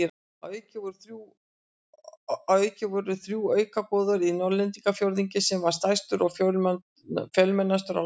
Að auki voru þrjú auka goðorð í Norðlendingafjórðungi sem var stærstur og fjölmennastur á landinu.